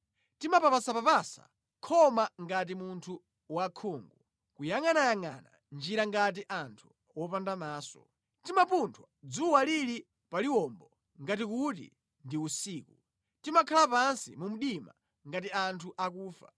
Timapapasapapasa khoma ngati munthu wosaona, kuyangʼanayangʼana njira ngati anthu opanda maso. Timapunthwa dzuwa lili paliwombo ngati kuti ndi usiku; timakhala pansi mu mdima ngati anthu akufa.